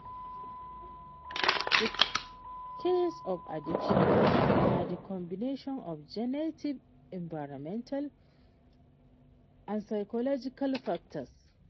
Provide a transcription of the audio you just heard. Di cause of addiction na di combination of genetic environmental and psychological factors.